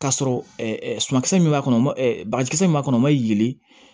K'a sɔrɔ sumankisɛ min b'a kɔnɔ ma bagaji min b'a kɔnɔ ma yelen